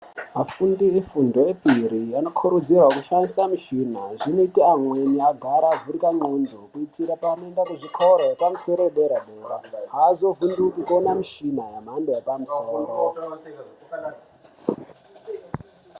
Vafundi vefundo yepiri vanokurudzirwa kushandisa michina zvinoita amweni agara avhurika ndxondo zvinota anoenda kuzvikoro epamusoro yedera-dera. Hazovhunduki kuona michina yemhando yepamusoro.